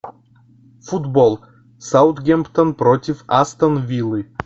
футбол саутгемптон против астон виллы